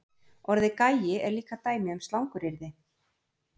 Orðið gæi er líka dæmi um slanguryrði.